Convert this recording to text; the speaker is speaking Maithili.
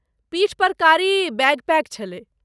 पीठपर कारी बैकपैक छलै।